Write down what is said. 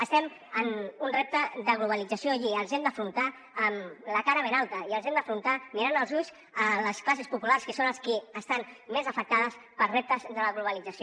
estem en uns reptes de globalització i els hem d’afrontar amb la cara ben alta i els hem d’afrontar mirant als ulls a les classes populars que són les que estan més afectades pels reptes de la globalització